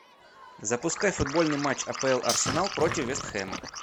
запускай футбольный матч апл арсенал против вест хэма